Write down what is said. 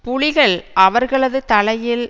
புலிகள் அவர்களது தலையில்